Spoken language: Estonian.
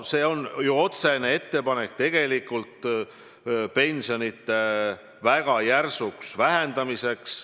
See on ju otsene ettepanek pensionide väga järsuks vähendamiseks.